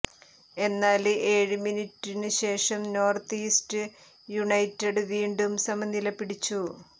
എന്നാല് ഏഴ് മിനിറ്റിനുശേഷം നോര്ത്ത് ഈസ്റ്റ് യുണൈറ്റഡ് വീണ്ടും സമനില പിടിച്ചു